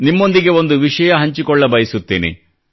ನಿಮ್ಮೊಂದಿಗೆ ಒಂದು ವಿಷಯ ಹಂಚಿಕೊಳ್ಳಬಯಸುತ್ತೇನೆ